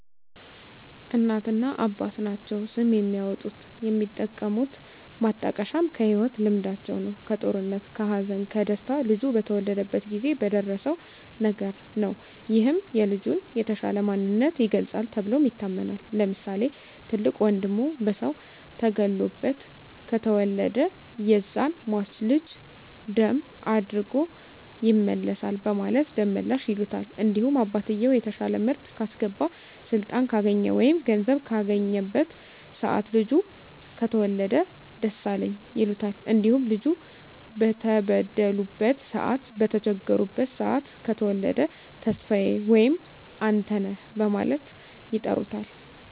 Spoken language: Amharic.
እናትና አባት ናቸዉ ስም የሚያወጡት። የሚጠቀሙት ማጣቀሻም ከህይወት ልምዳቸዉ ነዉ(ከጦርነት ከሀዘን ከደስታ ልጁ በተወለደበት ጊዜ በደረሰዉ ነገር) ነዉ ይህም የልጁን የተሻለ ማንነት ይገልፃል ተብሎም ይታመናል። ለምሳሌ፦ ትልቅ ወንድሙ በሰዉ ተገሎበት ከተወለደ ያዛን ሟች ልጅ ደም አድጎ ይመልሳል በማለት ደመላሽ ይሉታል። እንዲሁም አባትየዉ የተሻለ ምርት ካስገባ ስልጣን ካገኘ ወይም ገንዘብ ካገኘበት ሰአት ልጁ ከተወለደ ደሳለኝ ይሉታል። እንዲሁም ልጁ በተበደሉበት ሰአት በተቸገሩበት ሰአት ከተወለደ ተስፋየ ወይም አንተነህ በማለት ይጠሩታል።